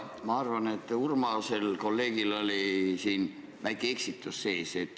Ma arvan, et kolleeg Urmas eksis veidi.